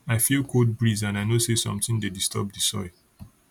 i feel cold breeze and i know say something dey disturb di soil